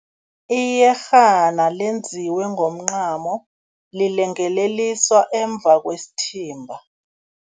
Iyerhana lenziwe ngomncamo, lilengeleliswa emuva kwesithimba.